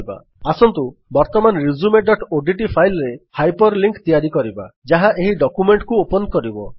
ଆସନ୍ତୁ ବର୍ତ୍ତମାନ resumeଓଡିଟି ଫାଇଲ୍ ରେ ହାଇପର୍ ଲିଙ୍କ୍ ତିଆରି କରିବା ଯାହା ଏହି ଡକ୍ୟୁମେଣ୍ଟକୁ ଓପନ୍ କରିବ